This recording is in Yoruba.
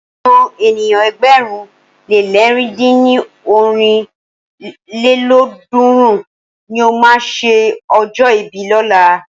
Àwọn ènìyàn ẹgbẹ̀rún le lẹ̀rin dín ní ọ́rin lélọ́ọ̀dúnrún ni o máa ṣe ọjọ́ ìbí lọ́la.